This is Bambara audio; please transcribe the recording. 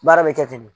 Baara bɛ kɛ ten de